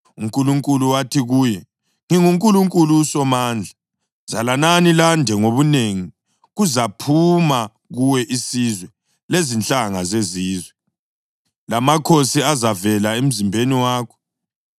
UNkulunkulu wathi kuye, “NginguNkulunkulu uSomandla; zalanani lande ngobunengi. Kuzaphuma kuwe isizwe lezinhlanga zezizwe, lamakhosi azavela emzimbeni wakho.